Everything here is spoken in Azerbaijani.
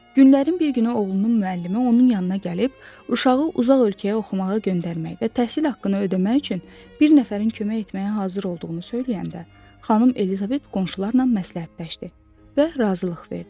Günlərin bir günü oğlunun müəllimi onun yanına gəlib, uşağı uzaq ölkəyə oxumağa göndərmək və təhsil haqqını ödəmək üçün bir nəfərin kömək etməyə hazır olduğunu söyləyəndə, xanım Elizabet qonşularla məsləhətləşdi və razılıq verdi.